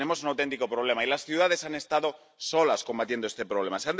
Tenemos un auténtico problema y las ciudades han estado solas combatiendo este problema.